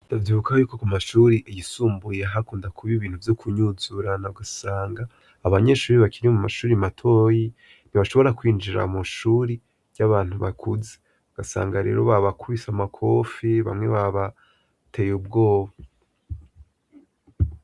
Davyuka yuko ku mashuri iyisumbuye hakunda kuba ibintu vyo kunyuzurana gasanga abanyeshuri bakirie mu mashuri matoyi ntibashobora kwinjira mushuri ry'abantu bakuzi ugasanga rero ba bakubise amakofi bamwe ba bateye ubwoba.